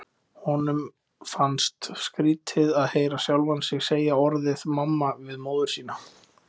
Honum fannst skrítið að heyra sjálfan sig segja orðið mamma við móður sína.